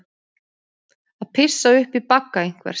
Að pissa upp í bagga einhvers